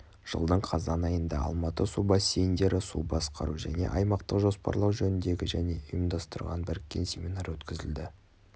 жылдың қазан айында алматы су бассейндері су басқару және аймақтық жоспарлау жөніндегі және ұйымдастырған біріккен семинар өткізілді